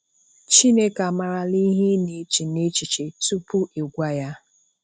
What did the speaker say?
um Chineke amarala ihe ị na-eche nechiche tupu ị gwa Ya.